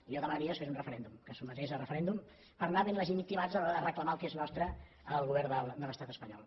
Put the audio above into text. i jo demanaria que es fes un referèndum que es sotmetés a referèndum per anar ben legitimats a l’hora de reclamar el que és nostre al govern de l’estat espanyol